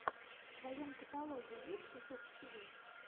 в твоем каталоге есть жук тиви